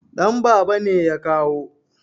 Danbaba ne ya kawo